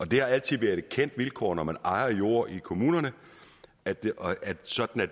det har altid været et kendt vilkår når man ejer jord i kommunerne at det er sådan og